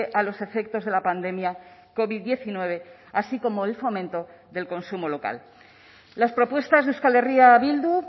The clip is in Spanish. a los efectos de la pandemia covid diecinueve así como el fomento del consumo local las propuestas de euskal herria bildu